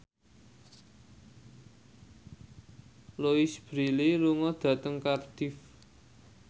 Louise Brealey lunga dhateng Cardiff